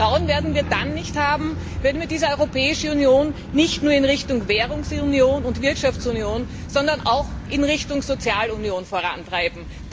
Dieses Vertrauen werden wir dann nicht haben, wenn wir diese Europäische Union nicht nur in Richtung Wirtschafts und Währungsunion, sondern auch in Richtung Sozialunion vorantreiben.